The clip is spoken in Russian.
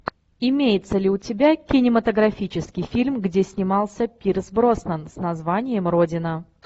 имеется ли у тебя кинематографический фильм где снимался пирс броснан с названием родина